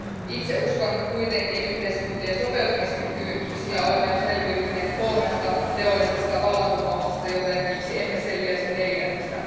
Itse uskon kuitenkin yhteiskuntien sopeutumiskykyyn, sillä olemme jo selviytyneet kolmesta teollisesta vallankumouksesta, joten miksi emme selviäisi neljännestä.